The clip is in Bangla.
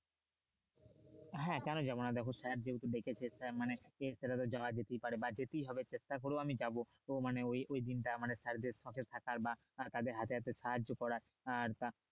হ্যাঁ কোন যাবো না দেখো sir যেহেতু ডেকেছে তার মানে সেটা তো যাওয়ায় যেতে পারে বা যেটাই হবে চেষ্টা করেও আমি যাবো মানে ওই ওই দিনটা মানে sir দের সঙ্গে থাকার বা তাদের হাতে হাতে সাহায্য করার আহ